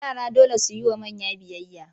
Yara dole su yi wa manya biyayya.